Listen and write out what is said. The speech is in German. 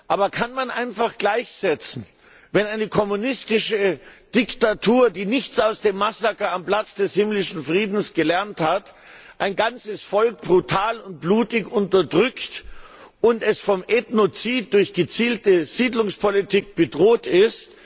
Aber kann man sie damit gleichsetzen, dass eine kommunistische Diktatur, die nichts aus dem Massaker am Platz des Himmlischen Friedens gelernt hat, ein ganzes Volk brutal und blutig unterdrückt und dieses Volk von Ethnozid durch gezielte Siedlungspolitik bedroht ist?